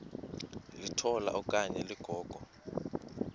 litola okanye ligogo